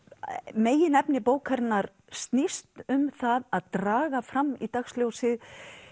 meginefni bókarinnar snýst um það að draga fram í dagsljósið